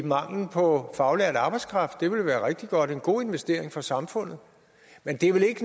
manglen på faglært arbejdskraft det ville være rigtig godt og en god investering for samfundet men det er vel ikke